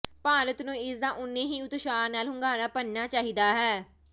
ਭਾਰਤ ਨੂੰ ਇਸ ਦਾ ਓਨੇ ਹੀ ਉਤਸ਼ਾਹ ਨਾਲ ਹੁੰਗਾਰਾ ਭਰਨਾ ਚਾਹੀਦਾ ਹੈ